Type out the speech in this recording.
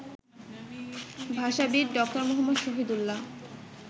ভাষাবিদ doctor Muhammad Shahidullah